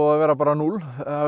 að vera bara núll